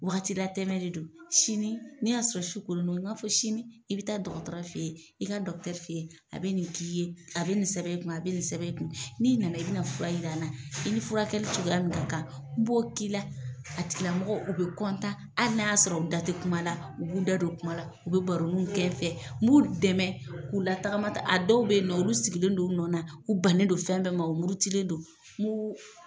Wagati la tɛmɛ de don sini n'i y'a sɔrɔ su konino n b'a fɔ sini i bi taa dɔgɔtɔrɔ fɛ ye i ka dɔckutɛri fe ye a be nin k'i ye a be nin sɛbɛ i kun a be nin sɛbɛ i kun n'i nana i bi na fura in yira n na i ni furakɛ cogoya min ka kan n bɔ k'i la a tigilamɔgɔ u be kɔntan ali n'a y'a sɔrɔ u da te kuma la u b'u da dɔ kuma la u be baronu kɛ n fɛ n b'u dɛmɛ k'u la tagama ta a dɔw be yen nɔ olu sigilen don u nɔn na u bannen don fɛn bɛɛ ma o murutilen don n b'u